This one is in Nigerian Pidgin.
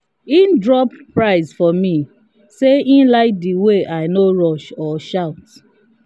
e drop price for me say e like the way i no rush or shout.